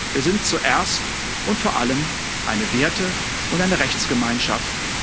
Wir sind zuerst und vor allem eine Werte und eine Rechtsgemeinschaft.